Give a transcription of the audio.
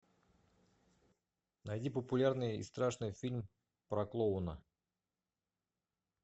найди популярный и страшный фильм про клоуна